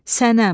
Sənəm,